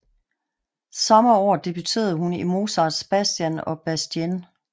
Samme år debuterede hun i Mozarts Bastien og Bastienne